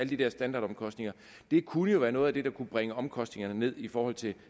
de der standardomkostninger det kunne jo være noget af det der kunne bringe omkostningerne ned i forhold til